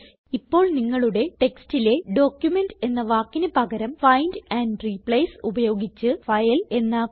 ഇപ്പോൾ നിങ്ങളുടെ ടെക്സ്റ്റിലെ ഡോക്യുമെന്റ് എന്ന വാക്കിന് പകരം ഫൈൻഡ് ആൻഡ് റിപ്ലേസ് ഉപയോഗിച്ച് ഫൈൽ എന്നാക്കുക